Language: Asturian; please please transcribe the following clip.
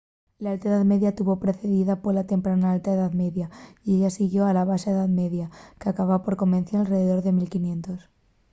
l’alta edá media tuvo precedida pola temprana alta edá media y a ella siguióla la baxa edá media qu’acaba por convención alredor de 1500